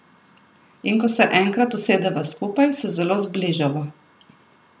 In ko se enkrat usedeva skupaj, se zelo zbližava.